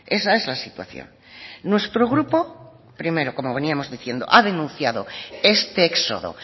esa es la situación nuestro grupo primero como veníamos diciendo ha denunciado este éxodo